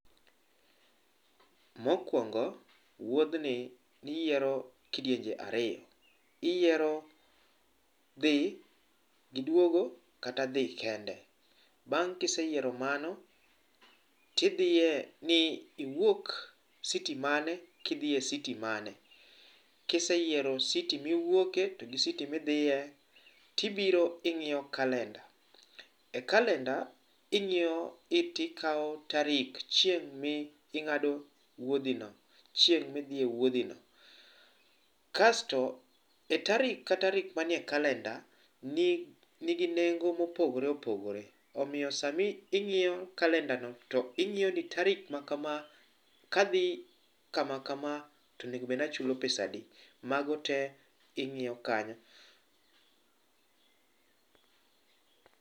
Mokwongo wuothni ni yiero kidienje ariyo,i yiero dhi gi dwogo kata dhi kende bang ka iseyiero mano ti idhie i wuok citi mane kidhie citi mane kiseyiero citi miwuoke to gi citi midhie ti biro ingiyo calender e calender ingiyo date ti kawo tarik chieng mi ngado wuodhi no chieng mi dhi e wuodhi no kasto e tarik ka tarik ma ni e calender ni gi nengo ma opogore opogore omiyo saa mingiyo calender no ingiyo ni tarik ma kama ka dhi kama kama to onego bed ni achulo pesa adi mago te ingiyo kanyo.